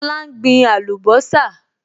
Lọlá n gbin àlùbọ́sà